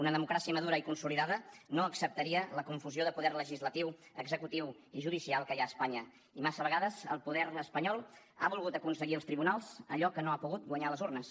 una democràcia madura i consolidada no acceptaria la confusió de poder legislatiu executiu i judicial que hi ha a espanya i massa vegades el govern espanyol ha volgut aconseguir als tribunals allò que no ha pogut guanyar a les urnes